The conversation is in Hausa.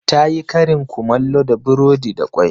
Ta yi karin kumallo da burodi da kwai.